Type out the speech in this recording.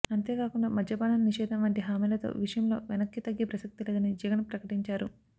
అంతే కాకుండా మద్యపానం నిషేధం వంటి హామీలతో విషయంలో వెనక్కి తగ్గే ప్రసక్తి లేదని జగన్ ప్రకటించారు